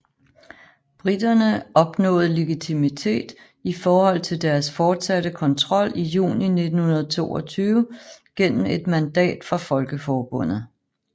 Briterne opnåede legitimitet i forhold til deres fortsatte kontrol i juni 1922 gennem et mandat fra Folkeforbundet